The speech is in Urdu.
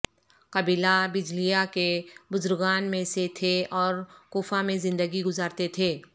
قبیلہ بجلیہ کے بزرگان میں سے تھے اور کوفہ میں زندگی گزارتے تھے